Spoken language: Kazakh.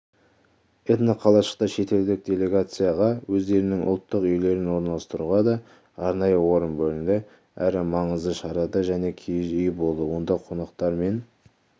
этноқалашықта шетелдік делегецияға өздерінің ұлттық үйлерін орналастыруға да арнайы орын бөлінді әрі маңызды шарада жеке киіз үй болды онда қонақтар мен